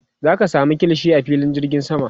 zaka samu kilishi a filin jirgin sama